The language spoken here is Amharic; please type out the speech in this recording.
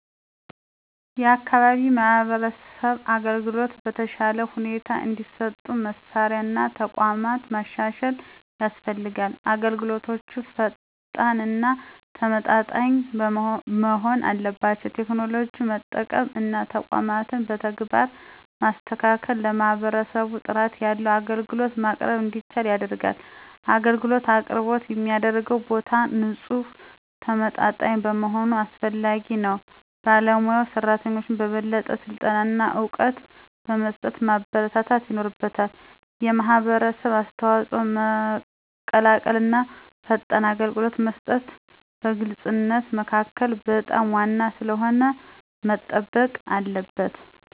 የአካባቢ የማህበረሰብ አገልግሎቶች በተሻለ ሁኔታ እንዲሰጡ መሳሪያ እና ተቋማት ማሻሻል ያስፈልጋል። አገልግሎቶች ፈጣን እና ተመጣጣኝ መሆን አለባቸው። ቴክኖሎጂን መጠቀም እና ተቋማትን በተግባር ማስተካከል ለማህበረሰቡ ጥራት ያለው አገልግሎት ማቅረብ እንዲቻል ያደርጋል። አገልግሎት አቅርቦት የሚደረግበት ቦታ ንፁህና ተመጣጣኝ መሆኑ አስፈላጊ ነው። ባለሞያ ሰራተኞችን በበለጠ ስልጠና እና እውቀት በመስጠት ማበረታታት ይኖርበታል። የማህበረሰብ አስተዋጽኦ መቀላቀል እና ፈጣን አገልግሎት መስጠት በግልፅነት መካከል በጣም ዋና ስለሆነ መጠበቅ አለበት።